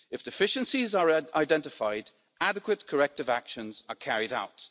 If deficiencies are identified, adequate corrective actions are carried out.